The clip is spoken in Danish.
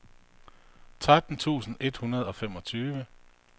tretten tusind et hundrede og femogtyve